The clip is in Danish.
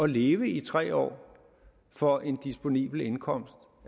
leve i tre år for en disponibel indkomst